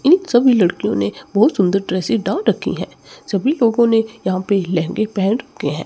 इन सभी लड़कियों ने बहुत सुंदर ड्रेसे डाल रखी है सभी लोगों ने यहां पे लहंगे पहन रखे है।